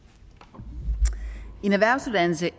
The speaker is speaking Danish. der